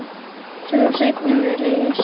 Sú seinni var reist